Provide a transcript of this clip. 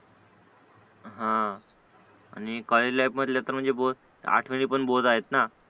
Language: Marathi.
हा आणि कॉलेज लाईफ मधले तरी म्हणजे आठवणी पण बोहोत आहे ना